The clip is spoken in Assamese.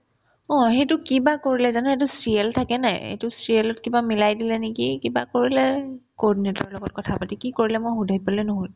অ, সেইটো কি বা কৰিলে জানো সেইটো CL থাকে নে নাই এইটো CL ত কিবা মিলাই দিলে নেকি কিবা কৰিলে coordinator ৰ লগত কথা পাতি কি কৰিলে মোৰ সুধিবলে নহ'ল